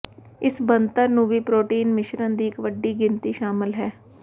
ਇਸ ਬਣਤਰ ਨੂੰ ਵੀ ਪ੍ਰੋਟੀਨ ਮਿਸ਼ਰਣ ਦੀ ਇੱਕ ਵੱਡੀ ਗਿਣਤੀ ਸ਼ਾਮਲ ਹੈ